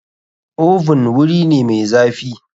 Oven wuri ne mai zafi.